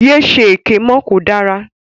Ye ṣe èké mọ́, kò dára.